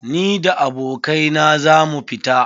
Ni da abokai na za mu fita.